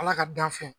Ala ka dan fɛn